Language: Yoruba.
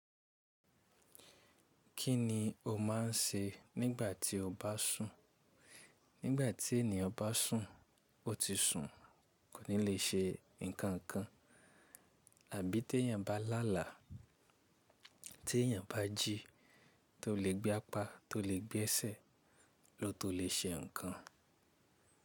Kí ni o máa ń ṣe nígbà tí o bá sùn? Nígbà tí ènìyàn bá sùn, ó ti sùn kò ní lè ṣe nǹkan kan, àbí tí èyàn bá làlà, tí èyàn bá jí, tó le gbé apá, tó le gbé ẹsẹ̀, ló tó lè ṣe nǹkan.